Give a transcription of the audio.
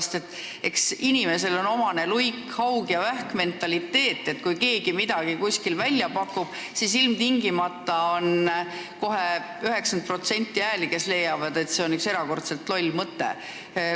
Sest eks inimesele ole omane luik-haug-ja-vähk-mentaliteet, nii et kui keegi midagi kuskil välja pakub, siis ilmtingimata on kohe 90% neid, kes leiavad, et see on üks erakordselt loll mõte.